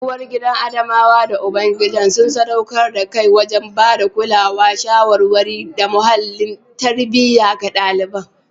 Uwargidan Adamawa da ubangidan sun sadaukar da kai wajen ba da kulawa, shawarwari, da muhallin tarbiyya ga ɗalibai.